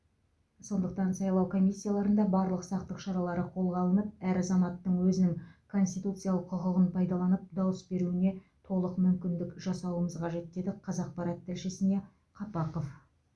сондықтан сайлау комиссияларында барлық сақтық шаралары қолға алынып әр азаматтың өзінің конституциялық құқығын пайдаланып дауыс беруіне толық мүмкіндік жасауымыз қажет деді қазақпарат тілшісіне қапақов